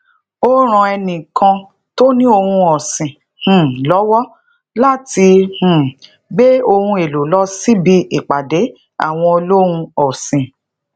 ó ran ẹni kan tóni ohun ọsin um lówó láti um gbé ohun èlò lọ síbi ipàdé awọn olohun ọsin